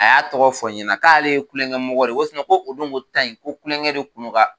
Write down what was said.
A y'a tɔgɔ fɔ ɲɛna k'ale ye kulongɛmɔgɔ de ye ko ko o donko ta yen ko kulongɛ de kun don ka